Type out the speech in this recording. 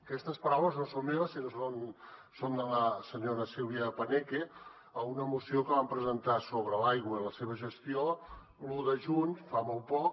aquestes paraules no són meves sinó que són de la senyora silvia paneque a una moció que vam presentar sobre l’aigua i la seva gestió l’un de juny fa molt poc